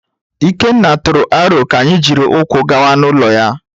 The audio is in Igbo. Ikenna tụrụ aro ka anyị jiri ụkwụ gawa n’ụlọ ya.